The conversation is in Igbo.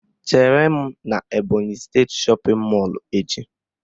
Chere m n'Ebọnyị steeti shọpịn mọlụ echi